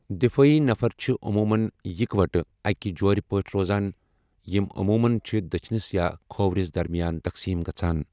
دِفٲعی نفر چھِ عموٗمَن اکوٹہٕ اَکہِ جورِ پٲٹھۍ روزان یِمۍ عموٗمَن چھِ دٔچھنِس یا کھوورِس درمیان تقسیٖم گژھَان۔